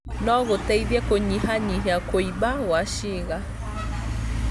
no gũteithie kũnyihanyihia kũimba kwa ciĩga.